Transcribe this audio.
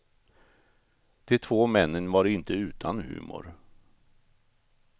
De två männen var inte utan humor.